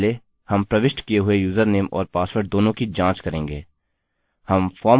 सबसे पहले हम प्रविष्ट किये हुए यूजरनेम और पासवर्ड दोनों की जाँच करेंगे